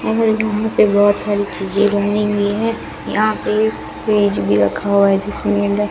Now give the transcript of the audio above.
मुझे यहां पे बहोत सारी चीज़ें बनाई हुई है यहां पे फ्रिज भी रखा हुआ है जिसके अंदर--